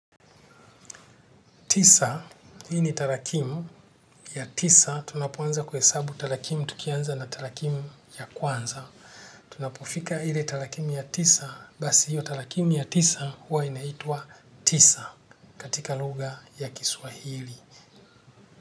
Tisa, hii ni talakimu ya tisa, tunapoanza kwesabu talakimu tukianza na talakimu ya kwanza. Tunapufika hile talakimu ya tisa, basi hiyo talakimu ya tisa huwa inaitua tisa katika luga ya kiswahili.